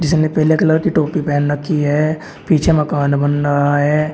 ने पीले कलर की टोपी पहन रखी है पीछे मकान बन रहा है।